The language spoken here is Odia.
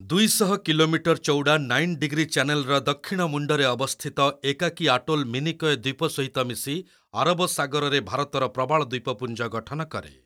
ଦୁଇଶହ କିଲୋମିଟର୍ ଚଉଡ଼ା ନାଇନ୍ ଡିଗ୍ରୀ ଚ୍ୟାନେଲ୍‍ର ଦକ୍ଷିଣ ମୁଣ୍ଡରେ ଅବସ୍ଥିତ ଏକାକୀ ଆଟୋଲ୍ ମିନିକୟ ଦ୍ଵୀପ ସହିତ ମିଶି ଆରବ ସାଗରରେ ଭାରତର ପ୍ରବାଳ ଦ୍ଵୀପପୁଞ୍ଜ ଗଠନ କରେ।